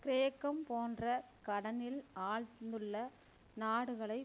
கிரேக்கம் போன்ற கடனில் ஆழ்ந்துள்ள நாடுகளை